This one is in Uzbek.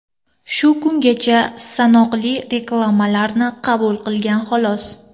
Shu kungacha sanoqli reklamalarni qabul qilgan xolos.